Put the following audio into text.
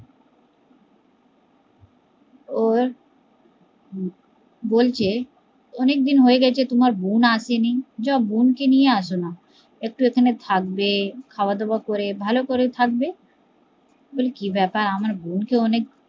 ওর বলছে অনেক দিন হয়ে গেছে তোমার বোন আসেনি, যায় বোন কে নিয়ে আস না, একটু এখানে থাকবে খাওয়া ধাওয়া করে ভালো করে থাকবে বলে কি ব্যাপার আমার বোন কে অনেক